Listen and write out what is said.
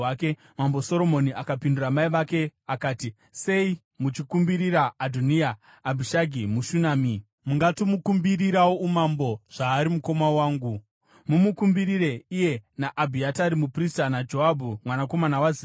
Mambo Soromoni akapindura mai vake akati, “Sei muchikumbirira Adhoniya, Abhishagi muShunami? Mungatomukumbirirawo umambo, zvaari mukoma wangu, mumukumbirire iye naAbhiatari muprista, naJoabhu mwanakomana waZeruya.”